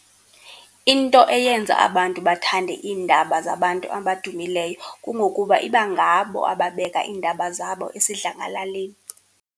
Into eyenza abantu bathande iindaba zabantu abadumileyo kungokuba iba ngabo ababeka iindaba zabo esidlangalaleni.